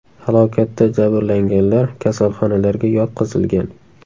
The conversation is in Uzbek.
Halokatda jabrlanganlar kasalxonalarga yotqizilgan.